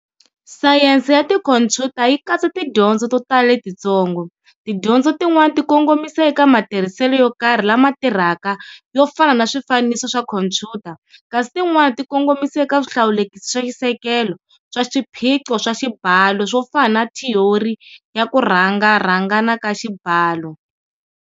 Sayense ya tikhompyuta yi katsa tidyondzo to tala letitsongo, Tidyondzo tin'wana ti kongomisa eka matirhiselo yo karhi lama tirhaka yo fana na swifaniso swa khompyuta, kasi tin'wana ti kongomisa eka swihlawulekisi swa xisekelo swa swiphiqo swa xibalo swo fana na thiyori ya ku rharhangana ka xibalo.